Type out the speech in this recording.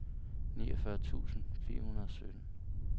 niogfyrre tusind fire hundrede og sytten